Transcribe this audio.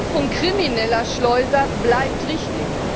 Die Bekämpfung krimineller Schleuser bleibt richtig.